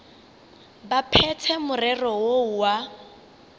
ba phethe morero woo wa